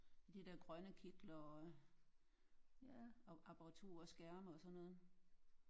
De der grønne kitler og apparaturer og skærme og sådan noget